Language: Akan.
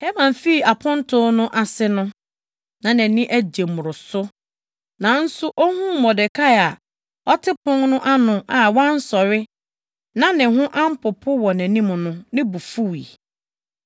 Haman fii aponto no ase no, na nʼani agye mmoroso! Nanso ohuu Mordekai a ɔte pon no ano a wansɔre na ne ho ampopo wɔ nʼanim no, ne bo fuwii.